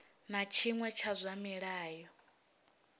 na tshiṅwe tsha zwa mulayo